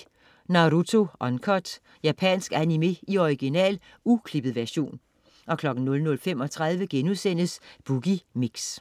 00.10 Naruto Uncut. Japansk animé i original, uklippet version 00.35 Boogie Mix*